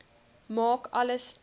maak alles net